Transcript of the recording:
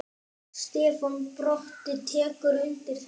Stefán Broddi tekur undir þetta.